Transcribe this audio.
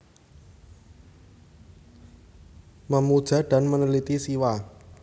Memuja dan Meneliti Siwa